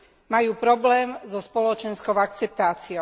Majú problém so spoločenskou akceptáciou.